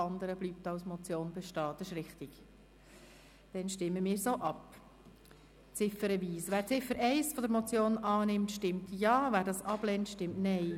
Wer der Abschreibung der Ziffer 1 zustimmt, stimmt Ja, wer dies ablehnt, stimmt Nein.